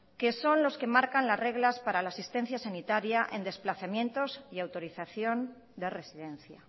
que son los que marcan las reglas para la asistencia sanitaria en desplazamientos y autorización de residencia